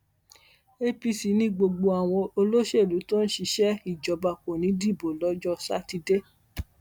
apc ni gbogbo àwọn olóṣèlú tó ń ṣiṣẹ ìjọba kò ní í dìbò lọjọ sátidé